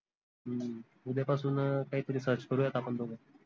हम्म उद्या पासून काही तरी search करूयात आपन दोघ